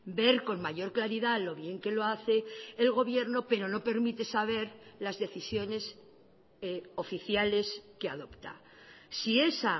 ver con mayor claridad lo bien que lo hace el gobierno pero no permite saber las decisiones oficiales que adopta si esa